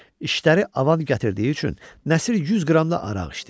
İşləri avan gətirdiyi üçün Nəsir 100 qram da araq içdi.